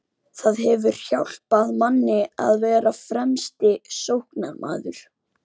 Það hefur hjálpað manni að vera fremsti sóknarmaður.